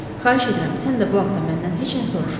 Xahiş edirəm, sən də bu haqta məndən heç nə soruşma.